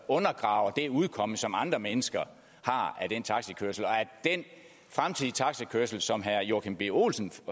undergraver det udkomme som andre mennesker har af taxikørsel og at den fremtidige taxakørsel sådan som herre joachim b olsen